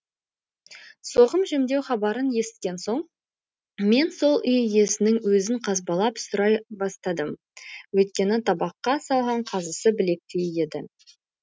соғым жемдеу хабарын есіткен соң мен сол үй иесінің өзін қазбалап сұрай бастадым өйткені табаққа салған қазысы білектей еді